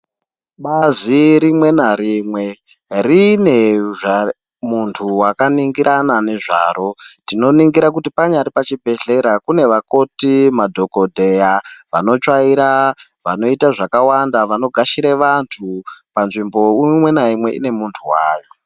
Bazi rimwe narimwe rine muntu wakaninhorana ngezvaro tinoningira kuti panyari pachibhedhlera kunevakoti, madhokodheya , vanotsvaira , vanoita zvakawanda , vanogashire vantu panzvimbo imweni naumwe inemuntu wayo.